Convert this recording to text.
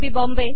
बाँबे